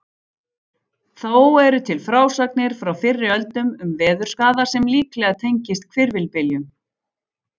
Þó eru til frásagnir frá fyrri öldum um veðurskaða sem líklega tengist hvirfilbyljum.